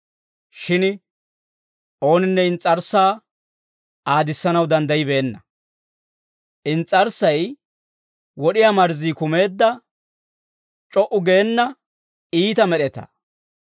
Shin ooninne ins's'arssaa aadissanaw danddayibeenna; ins's'arssay wod'iyaa marzzii kumeedda c'o"u geena iita med'etaa.